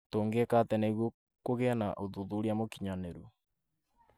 Tũngĩka atĩ nĩguo kũgĩe na ũthuthuria mũkinyanĩru?